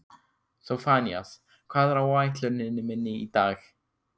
Sophanías, hvað er á áætluninni minni í dag?